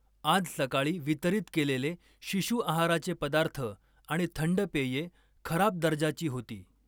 आज सकाळी वितरित केलेले शिशु आहाराचे पदार्थ आणि थंड पेये खराब दर्जाची होती.